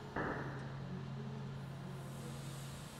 ютьюб установи подборки